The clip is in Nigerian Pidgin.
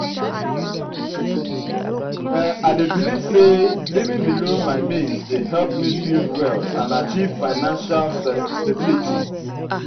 i dey believe say living below my means dey help me build wealth and achieve financial stability.